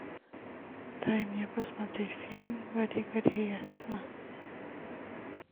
дай мне посмотреть фильм гори гори ясно